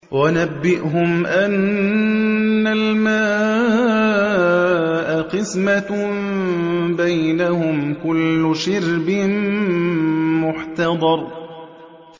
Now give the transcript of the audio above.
وَنَبِّئْهُمْ أَنَّ الْمَاءَ قِسْمَةٌ بَيْنَهُمْ ۖ كُلُّ شِرْبٍ مُّحْتَضَرٌ